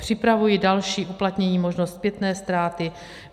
Připravuji další uplatnění, možnost zpětné ztráty.